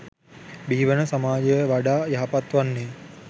බිහිවන සමාජය වඩා යහපත් වන්නේ.